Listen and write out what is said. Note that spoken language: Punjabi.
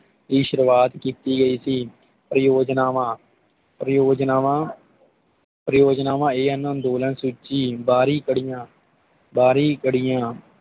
ਦੀ ਸ਼ੁਰਵਾਤ ਕੀਤੀ ਗਈ ਸੀ ਪਰਿਯੋਜਨਾਵਾਂ ਪਰਿਯੋਜਨਾਵਾਂ ਪਰਿਯੋਜਨਾਵਾਂ A. N. ਅੰਦੋਲਨ ਸੂਚੀ ਬਾਰੀ ਪੜ੍ਹੀਆਂ ਬਾਰੀ ਪੜੀਆਂ